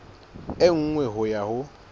e nngwe ho ya ho